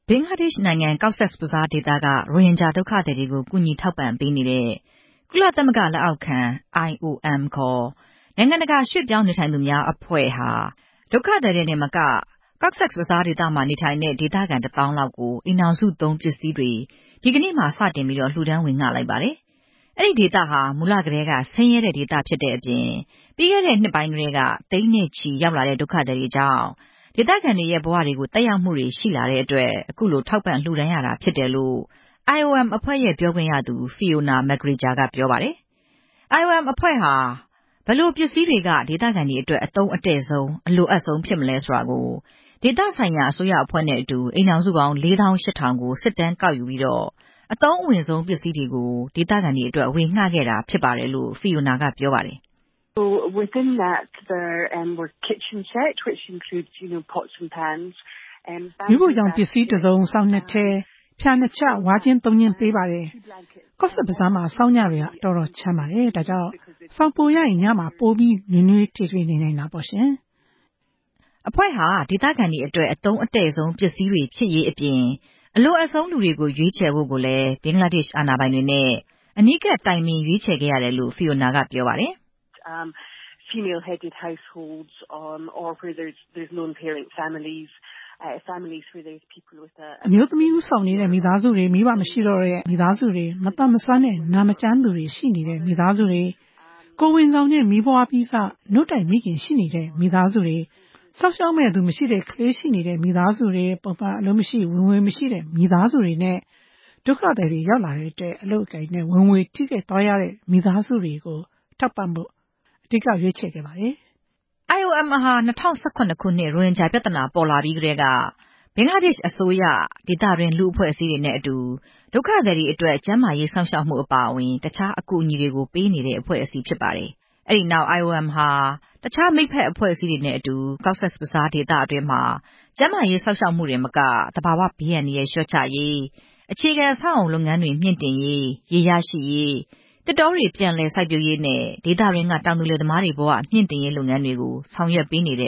ဘင်္ဂလားဒေ့ရှ်နိုင်ငံ ကော့ဆက်ဘဇားဒေသက ရိုဟင်ဂျာဒုက္ခသည်တွေကို ကူညီထောက်ပံ့ပေးနေတဲ့ ကုလ သမဂ္ဂလက်အောက်ခံ IOM ခေါ် နိုင်ငံတကာရွှေ့ပြောင်းနေထိုင်သူများအဖွဲ့ဟာ ဒုက္ခသည်တွေတင်မက ကော့ဆက်ဘဇားဒေသမှာ နေထိုင်တဲ့ ဒေသခံတသောင်းလောက်ကို အိမ်ထောင်စုသုံးပစ္စည်းတွေကို ဒီကနေ့မှာ စတင်ပြီး လှူဒါန်းဝေငှ လိုက်ပါတယ်။ အဲဒီဒေသဟာ မူလကတည်းက ဆင်းရဲတဲ့ဒေသဖြစ်တဲ့အပြင် ပြီးခဲ့တဲ့ နှစ်ပိုင်းထဲက သိန်းနဲ့ချီရောက်လာတဲ့ ဒုက္ခသည်တွေကြောင့် ဒေသခံတွေရဲ့ဘဝတွေကို သက်ရောက်မှုတွေ ရှိလာတဲ့အတွက် အခုလို ထောက်ပံ့လှူတန်းရတာဖြစ်တယ်လို့ IOM အဖွဲ့ရဲ့ ပြောခွင့်ရသူ ဖီအိုနာ မက်ဂရီဂျာ က ပြောပါတယ်။ IOM အဖွဲ့ဟာ ဘယ်လိုပစ္စည်းတွေက ဒေသခံတွေအတွက် အသုံးအတည့်ဆုံး၊ အလိုအပ်ဆုံးဖြစ်မလဲ ဆိုတာကို ဒေသဆိုင်ရာအစိုးရအဖွဲ့နဲ့အတူ အိမ်ထောင်စုပေါင်း ၄၈ဝဝဝ ကို စစ်တမ်း ကောက်ယူပြီးတော့ အသုံးအဝင်ဆုံး ပစ္စည်းတွေကို ဒေသခံတွေအတွက် ဝေငှခဲ့တာဖြစ်ပါတယ်လို့ ဖီအိုနာက ပြောပါတယ်။ "မီးဖိုချောင်သုံးပစ္စည်းတစုံ၊ စောင်နှစ်ထည်၊ ဖျာနှစ်ချပ်၊ ဝါးခြင်း ၃ ခြင်း ပေးပါတယ်။ ကော့ဆက်ဘဇားမှာ ဆောင်းညတွေကတော်တော်ချမ်းပါတယ်။ ဒါကြောင့် စောင်ပိုရရင် ညမှာ ပိုပြီး နွေးနွေးထွေးထွေးနေနိုင်တာပေါ့" အဖွဲ့ဟာ ဒေသခံတွေအတွက် အသုံးအတည့်ဆုံးပစ္စည်းတွေ ဖြစ်ရေးအပြင် အလိုအပ်ဆုံးလူတွေကို ရွေးချယ်ဖို့ကိုလည်း ဘင်္ဂလားဒေ့ရှ်အာဏာပိုင်တွေနဲ့ အနီးကပ် တိုင်ပင်ရွေးချယ်ခဲ့ရတယ်လို့ ဖီအိုနာက ပြောပါတယ်။ "အမျိုးသမီးဦးဆောင်နေတဲ့ မိသားစုတွေ၊ မိဘမရှိတော့တဲ့ မိသားစုတွေ၊ မသန်မစွမ်းနဲ့ နာမကျန်းသူရှိနေတဲ့ မိသားစုတွေ၊ ကိုယ်ဝန်ဆောင်နဲ့ မီးဖွားပြီးစ နို့တိုက်မိခင်ရှိနေတဲ့ မိသားစုတွေ၊ စောင့်ရှောက်မယ့်သူမရှိတဲ့ ကလေး ရှိ နေတဲ့ မိသားစုတွေ၊ ပုံမှန်အလုပ်မရှိ၊ ဝင်ငွေမရှိတဲ့ မိသားစုတွေနဲ့၊ ဒုက္ခသည်တွေ ရောက်လာတဲ့အတွက် အလုပ်အကိုင်နဲ့ ဝင်ငွေထိခိုက်သွားရတဲ့ မိသားစုတွေကို ထောက်ပံ့ဖို့ အဓိကထား ရွေးချယ်ခဲ့ပါတယ်" IOM ဟာ ၂ဝ၁၇ ခုနှစ် ရိုဟင်ဂျာပြဿနာ ပေါ်ပေါက်လာပြီးကတည်းက ဘင်္ဂလားဒေ့ရှ်အစိုးရ၊ ဒေသတွင်း လူ့အဖွဲ့အစည်းတွေနဲ့ အတူ ဒုက္ခသည်တွေအတွက် ကျန်းမာရေးစောင့်ရှောက်မှုအပါအဝင် တခြားအကူအညီတွေကို ပေးနေတဲ့ အဖွဲ့အစည်းဖြစ်ပါတယ်။ အဲဒီနောက် IOM ဟာ တခြားမိတ်ဖက်အဖွဲ့အစည်းတွေနဲ့အတူ ကော့ဆက်ဘဇားဒေသတွင်းမှာ ကျန်းမာရေးစောင့်ရှောက်မှုတင်မက၊ သဘာဝဘေးအန္တရာယ် လျှော့ချရေး၊ အခြေခံအဆောက်အအုံလုပ်ငန်းတွေ မြှင့်တင်ရေး၊ ရေရရှိရေး၊ သစ်တောတွေ ပြန်လည်စိုက်ပျိုးရေးနဲ့ ဒေသတွင်းက တောင်သူလယ်သမားတွေဘဝ မြှင့်တင်ရေး လုပ်ငန်းတွေကို ဆောင်ရွက်ပေးနေတ